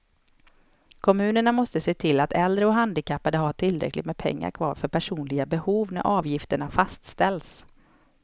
Kommunerna måste se till att äldre och handikappade har tillräckligt med pengar kvar för personliga behov när avgifterna fastställs.